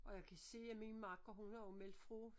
Og jeg kan se at min makker hun har jo meldt fra